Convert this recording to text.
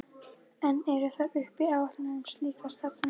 Enn eru þar uppi áætlanir um slíka starfsemi.